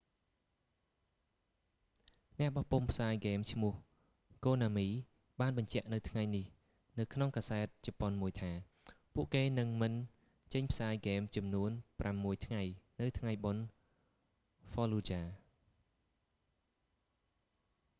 អ្នកបោះពុម្ពផ្សាយហ្គេមឈ្មោះ konami បានបញ្ជាក់នៅថ្ងៃនេះនៅក្នុងកាសែតជប៉ុនមួយថា ពួកគេនឹងមិនចេញផ្សាយហ្គេមចំនួនប្រាំមួយថ្ងៃនៅថ្ងៃបុណ្យ fallujah